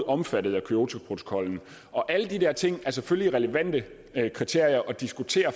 omfattet af kyotoprotokollen og alle de der ting er selvfølgelig relevante kriterier at diskutere